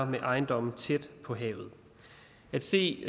med ejendomme tæt på havet at se